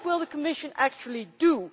So what will the Commission actually do?